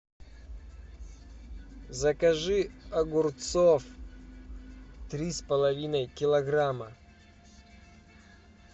закажи огурцов три с половиной килограмма